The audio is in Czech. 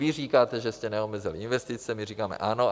Vy říkáte, že jste neomezili investice, my říkáme ano.